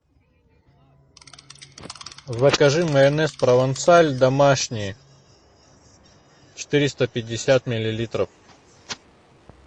закажи майонез провансаль домашний четыреста пятьдесят миллилитров